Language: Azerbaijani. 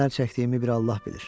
Nələr çəkdiyimi bir Allah bilir.